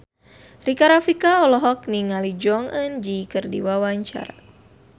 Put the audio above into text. Rika Rafika olohok ningali Jong Eun Ji keur diwawancara